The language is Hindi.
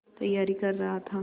तैयारी कर रहा था